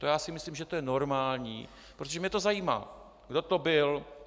To já si myslím, že to je normální, protože mě to zajímá, kdo to byl.